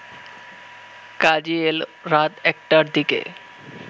কাজি এল রাত একটার দিকে